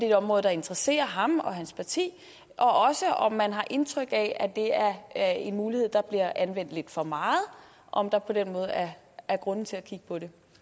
et område der interesserer ham og hans parti og om man har indtryk af at det er en mulighed der bliver anvendt lidt for meget og om der på den måde er er grund til at kigge på det